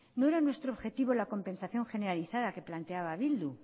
no era nuestro objetivo la compensación generalizada que planteaba bildu